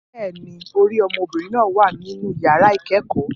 Bẹ́ẹ̀ ni, orí ọmọbìnrin náà wà nínú yàrá ìkẹ́kọ̀ọ́